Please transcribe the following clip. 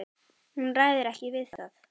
Hún ræður ekki við það.